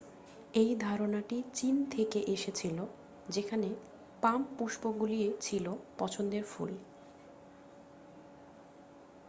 এই ধারণাটি চীন থেকে এসেছিল যেখানে পাম পুষ্পগুলি ছিল পছন্দের ফুল